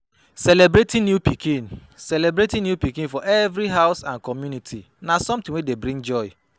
Celebrating new pikin Celebrating new pikin for every house and community na something wey dey bring joy